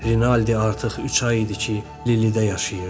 Rinaldi artıq üç ay idi ki, Lilidə yaşayırdı.